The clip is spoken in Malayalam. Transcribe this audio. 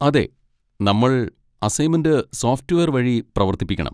അതെ, നമ്മൾ അസൈന്മെന്റ് സോഫ്റ്റ്‌വെയർ വഴി പ്രവർത്തിപ്പിക്കണം.